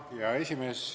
Hea esimees!